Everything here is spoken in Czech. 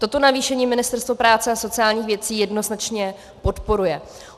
Toto navýšení Ministerstvo práce a sociálních věcí jednoznačně podporuje.